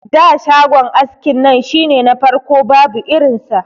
Da shagon askin nan shine na farko babu irin sa.